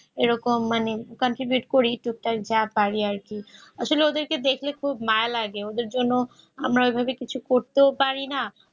এরকম মানে continue যা করে আর কি আসলে ওদেরকে দেখলে খুব মায়া লাগে ওদের জন্য এভাবে কিছু করতে পারিনা